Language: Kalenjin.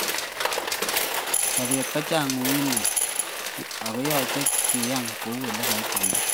Sobet kochang uitunwek yoche kiyan kou ole kaitunda.